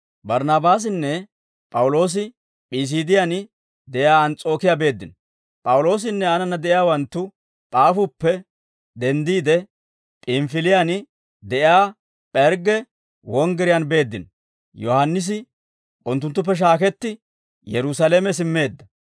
P'awuloosinne aanana de'iyaawanttu P'aafuppe denddiide, P'inifiliyaan de'iyaa P'ergge wonggiriyaan beeddino; Yohaannisi unttunttuppe shaaketti, Yerusaalame simmeedda.